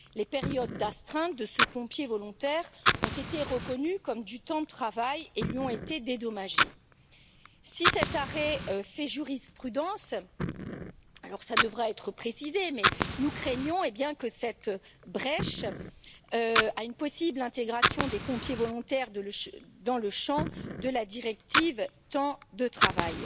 Les périodes d'astreinte de ce pompier volontaire ont été reconnues comme du temps de travail et lui ont été dédommagées. Si cet arrêt fait jurisprudence, cela devra être précisé, mais nous craignons que cette brèche mène à une possible intégration des pompiers volontaires dans le champ de la directive temps de travail.